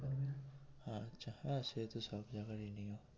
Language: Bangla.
সে তো সব জায়গারই নিয়ম এটা